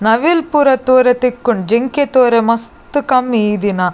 ನವಿಲ್ ಪೂರ ತೂವೆರೆ ತಿಕ್ಕುಂಡು ಜಿಂಕೆ ತೂವೆರೆ ಮಸ್ತ್ ಕಮ್ಮಿ ಈ ದಿನ.